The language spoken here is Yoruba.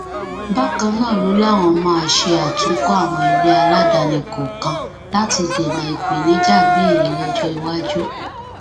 bákan náà ló láwọn máa ṣe àtúnkọ àwọn ilé aládàáni kọọkan láti dènà ìpèníjà bíi èyí lọjọ iwájú